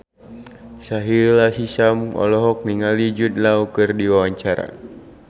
Sahila Hisyam olohok ningali Jude Law keur diwawancara